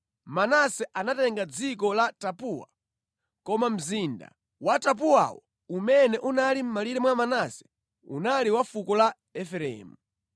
(Manase anatenga dziko la Tapuwa, koma mzinda wa Tapuwawo, umene unali mʼmalire mwa Manase unali wa fuko la Efereimu).